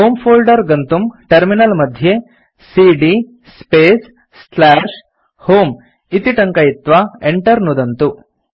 होमे फोल्डर गन्तुं टर्मिनल मध्ये सीडी स्पेस् होमे इति टङ्कयित्वा enter नुदन्तु